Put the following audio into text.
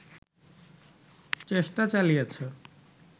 চেষ্টা চালিয়েছে